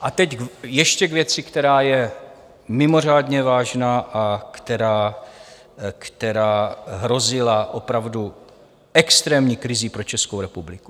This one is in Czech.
A teď ještě k věci, která je mimořádně vážná a která hrozila opravdu extrémní krizí pro Českou republiku.